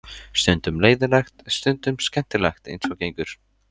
Stundum leiðinlegt, stundum skemmtilegt eins og gengur.